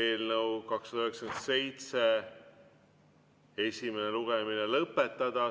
eelnõu 297 esimene lugemine lõpetada.